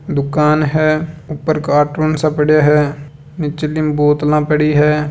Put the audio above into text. दुकान है ऊपर कार्टून सब पड़े हैं नीचली म बोतलां पड़ी है।